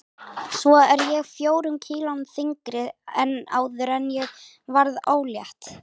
Svo er ég fjórum kílóum þyngri en áður en ég varð ólétt.